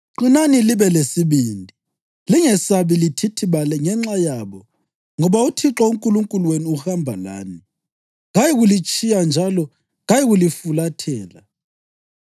Qinani libe lesibindi. Lingesabi lithithibale ngenxa yabo, ngoba uThixo uNkulunkulu wenu uhamba lani, kayikulitshiya njalo kayikulifulathela.”